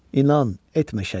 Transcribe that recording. İnan, etmə şəkk.